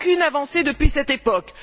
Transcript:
Aucune avancée depuis cette époque.